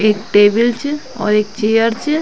ऐक टेबल च और एक चेयर च।